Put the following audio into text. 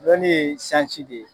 Lɔnni ye sansi de ye.